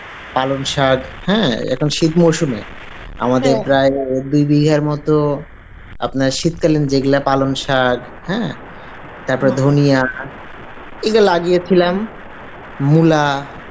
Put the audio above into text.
পালং সাক এখন শীত মরশুমে আমাদের প্রায় দুই বিঘের মতো আপনার শীত কালীন যে গুলা পালং সক হ্যাঁ ধনিয়া এগ লাগিয়েছিলাম, মূলা